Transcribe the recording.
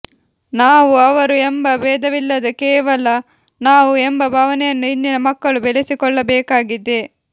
ನಾವು ಅವರು ಎಂಬ ಬೇಧವಿಲ್ಲದೆ ಕೇವಲ ನಾವು ಎಂಬ ಭಾವನೆಯನ್ನು ಇಂದಿನ ಮಕ್ಕಳು ಬೆಳೆಸಿಕೊಳ್ಳಬೇಕಾಗಿದೆ